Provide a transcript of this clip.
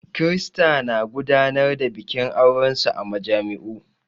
Kirista na gudanar da bikin aurensu a majami'u.